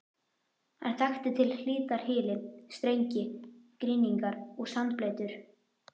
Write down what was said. Hann þekkti til hlítar hyli, strengi, grynningar og sandbleytur.